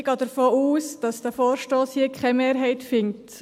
Ich gehe davon aus, dass dieser Vorstoss hier keine Mehrheit findet.